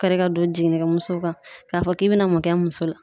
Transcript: Kari ka don jiginnikɛ muso kan, ka fɔ k'i be na mun kɛ n muso la?